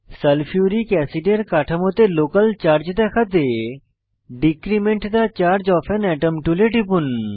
sulphuric অ্যাসিডের কাঠামোতে local charge দেখাতে decrement the charge of an atom টুলে টিপুন